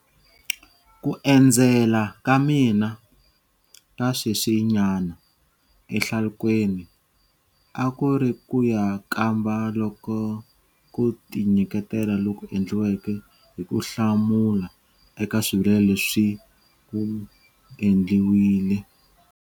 Ku endzela ka mina ka sweswinyana ehlalukweni a ku ri ku ya kamba loko ku tinyiketela loku endliweke hi ku hlamula eka swivilelo leswi ku endliwile.